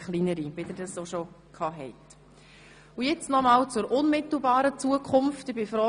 Weiter wäre ich froh, wenn Sie nun alles mitnehmen könnten.